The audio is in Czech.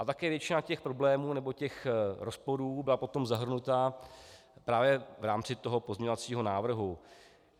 A také většina těch problémů nebo těch rozporů byla potom zahrnuta právě v rámci toho pozměňovacího návrhu.